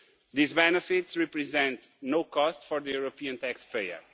These benefits represent no cost for the European tax payer